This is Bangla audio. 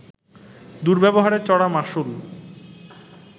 দুর্ব্যবহারের চড়া মাশুল